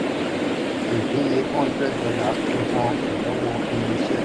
ìdín iye hundred dollar [100] fi hàn ìnáwó irinṣẹ́.